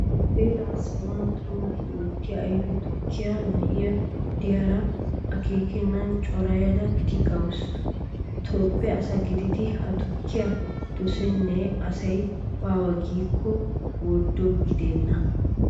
Heeraa sawuwan tonggu oottiya ayfe tukkiya na'i diyara akeekan corayada tigawusu. Toophphe asa gididi ha tukkiya dosenna asi baawa giikko worddo gidenna.